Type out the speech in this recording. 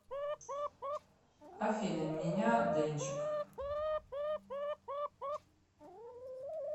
афина меня дэнчик